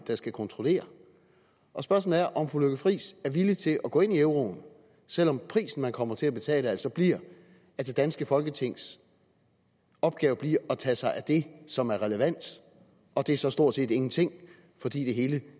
der skal kontrollere spørgsmålet er om fru lykke friis er villig til at gå ind i euroen selv om prisen man kommer til at betale altså bliver at det danske folketings opgave bliver at tage sig af det som er relevant og det er så stort set ingenting fordi det hele